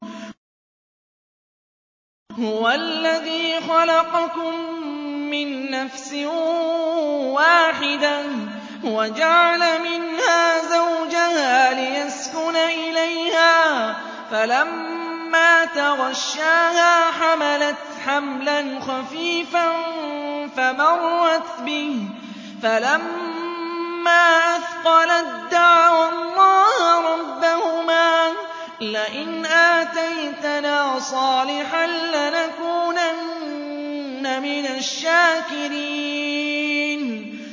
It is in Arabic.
۞ هُوَ الَّذِي خَلَقَكُم مِّن نَّفْسٍ وَاحِدَةٍ وَجَعَلَ مِنْهَا زَوْجَهَا لِيَسْكُنَ إِلَيْهَا ۖ فَلَمَّا تَغَشَّاهَا حَمَلَتْ حَمْلًا خَفِيفًا فَمَرَّتْ بِهِ ۖ فَلَمَّا أَثْقَلَت دَّعَوَا اللَّهَ رَبَّهُمَا لَئِنْ آتَيْتَنَا صَالِحًا لَّنَكُونَنَّ مِنَ الشَّاكِرِينَ